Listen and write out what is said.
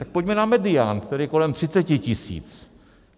Tak pojďme na medián, který je kolem 30 tisíc.